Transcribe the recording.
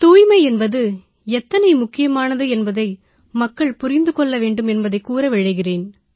தூய்மை என்பது எத்தனை முக்கியமானது என்பதை மக்கள் புரிந்து கொள்ள வேண்டும் என்பதைக் கூற விழைகிறேன்